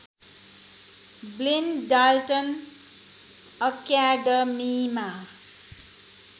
Blaine Dalton अक्याडमिमा